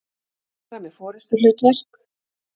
fara með forystuhlutverk.